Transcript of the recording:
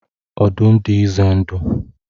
Ọdụm dị ize ndụ.